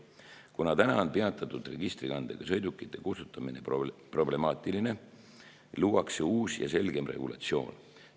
Kuna praegu on peatatud registrikandega sõidukite kustutamine problemaatiline, luuakse uus ja selgem regulatsioon.